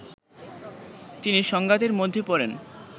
তিনি সংঘাতের মধ্যে পড়েন